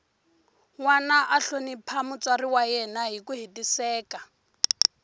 nwana a hlonipha mutswari wa yena hiku hetiseka